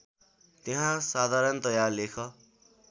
त्यहाँ साधारणतया लेख